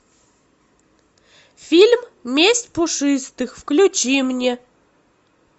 фильм месть пушистых включи мне